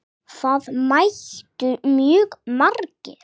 Það mættu mjög margir.